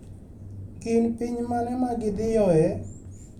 Gin piny mane ma gidhiyoe?